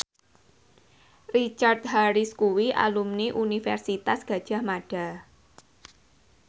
Richard Harris kuwi alumni Universitas Gadjah Mada